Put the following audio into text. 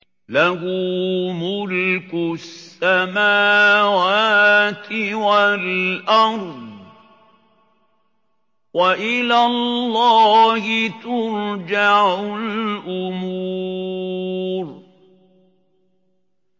لَّهُ مُلْكُ السَّمَاوَاتِ وَالْأَرْضِ ۚ وَإِلَى اللَّهِ تُرْجَعُ الْأُمُورُ